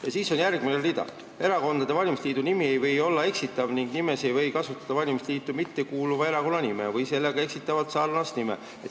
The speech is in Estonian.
" Ja siis on järgmine rida: "Erakondade valimisliidu nimi ei või olla eksitav ning nimes ei või kasutada valimisliitu mittekuuluva erakonna nime või sellega eksitavalt sarnast nime.